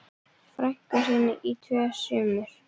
frænku sinni í tvö sumur.